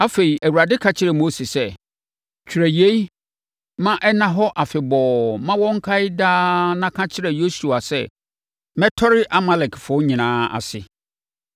Afei, Awurade ka kyerɛɛ Mose sɛ, “Twerɛ yei ma ɛnna hɔ afebɔɔ ma wɔnkae daa na ka kyerɛ Yosua sɛ, mɛtɔre Amalekfoɔ nyinaa ase.”